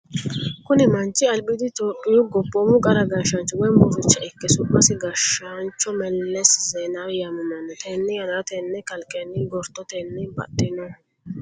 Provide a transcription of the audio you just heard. Kuni manchi albiidi itiophiyu gobboomu qara gashshaancho woy murricha ikke su'masi gashaancho Melese zeenawi yaamamanno. Tenne yannara tenne kalqenni gortotenni baxxinoha.